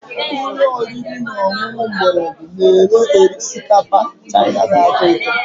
Ụlọ oriri na ọṅụṅụ mgbọrọgwụ na-ere osikapa Chaina na-atọ ụtọ